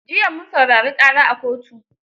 Jiya mun saurari ƙara a kotu.